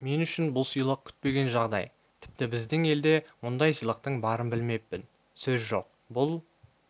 мен үшін бұл сыйлық күтпеген жағдай тіпті біздің елде мұндай сыйлықтың барын білмеппін сөз жоқ бұл